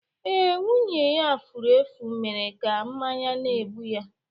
Ee, nwunye ya furu efu mere ka mmanya na-egbu ya